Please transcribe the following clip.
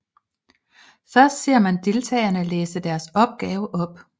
Først ser man deltagerne læse deres opgave op